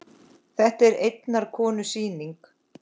Þetta er einnar konu sýning.